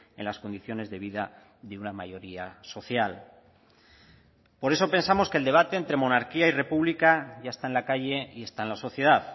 en las condiciones de vida de una mayoría social por eso pensamos que el debate entre monarquía y república ya está en la calle y está en la sociedad